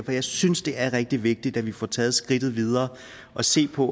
jeg synes det er rigtig vigtigt at vi får taget skridtet videre og set på